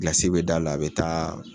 Gilasi bɛ d'a la a bɛ taa